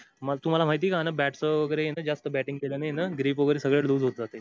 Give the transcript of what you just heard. मग तुम्हाला माहितीय का जास् bating केल्याने grip वैगेरे loose होत जाते